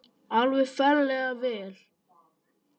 Alveg ferlega vel.